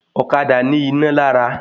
Ọ̀kadà ní iná lára